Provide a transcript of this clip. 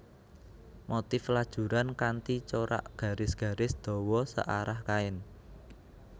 Motif lajuran kanthi corak garis garis dawa searah kain